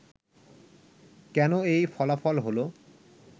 কেন এই ফলাফল হলো